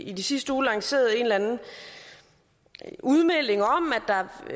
i sidste uge lanceret en udmelding om